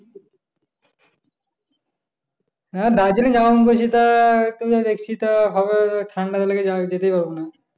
হ্যাঁ দার্জিলিং যাবো মনে করছি তা হবে হ্যাঁ ঠাণ্ডা লেগে গেলে যেতেও পারবোনা